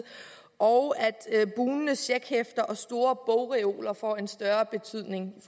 og at bugnende checkhæfter og store bogreoler får en større betydning i